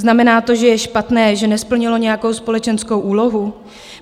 Znamená to, že je špatné, že nesplnilo nějakou společenskou úlohu?